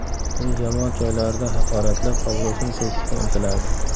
Uni jamoat joylarida haqoratlab, obro‘sini to‘kishga intiladi.